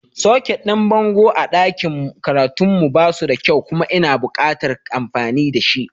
Soket ɗin bango a ɗakin karatun mu ba suda kyau kuma ina buƙatar amfani da shi.